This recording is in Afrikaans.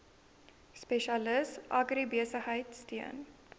spesialis agribesigheid steun